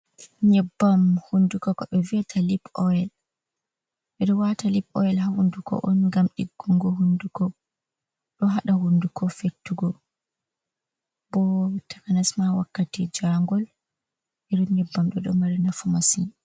Nyebbam hunduko ko be vi’ata lip oyel. Bedo wata lip oyel ha hunduko on gam diggungo hunduko. Do hada hunduko fettugo, bo takanas ma wakkati njaagol eri nyebbam do do mari nafu masin.